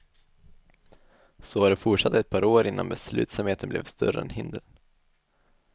Så har det fortsatt ett par år innan beslutsamheten blev större än hindren.